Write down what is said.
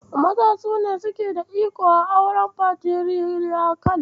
Maza su ne suke da iko a auren Fatiriyakal.